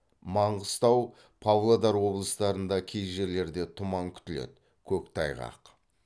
маңғыстау павлодар облыстарында кей жерлерде тұман күтіледі көктайғақ